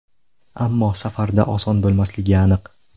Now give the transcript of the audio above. Ammo safarda oson bo‘lmasligi aniq.